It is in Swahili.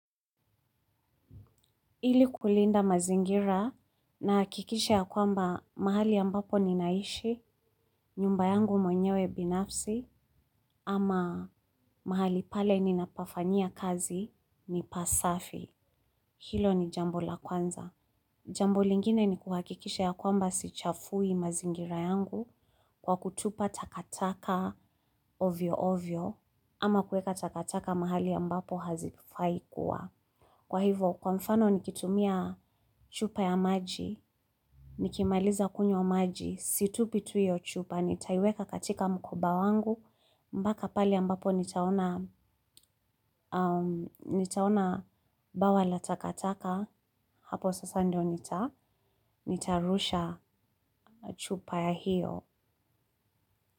Ili kulinda mazingira nahakikisha ya kwamba mahali ambapo ninaishi, nyumba yangu mwenyewe binafsi ama mahali pale ninapafanyia kazi ni pasafi. Hilo ni jambo la kwanza. Jambo lingine ni kuhakikisha ya kwamba sichafui mazingira yangu kwa kutupa takataka ovyo ovyo ama kueka takataka mahali ambapo hazifai kuwa. Kwa hivo, kwa mfano nikitumia chupa ya maji, nikimaliza kunywa maji, situpi tu iyo chupa, nitaiweka katika mkoba wangu, mbaka pale ambapo nitaona. Nitaona bawa la takataka, hapo sasa ndio nitarusha chupa ya hiyo.